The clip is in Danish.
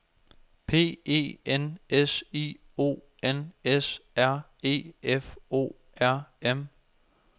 P E N S I O N S R E F O R M